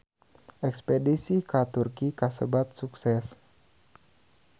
Espedisi ka Turki kasebat sukses